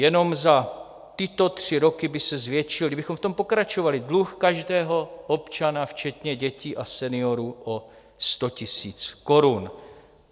Jenom za tyto tři roky by se zvětšil, kdybychom v tom pokračovali, dluh každého občana včetně dětí a seniorů o 100 000 korun.